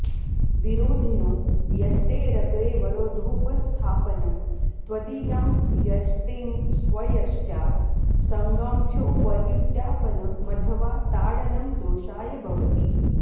विरोधिनो यष्टेरग्रेवरोधोपस्थापनं तदीयां यष्टिं स्वयष्ट्या सङ्गम्फ्योपर्युत्यापनमथवा ताडनं दोषाय भवति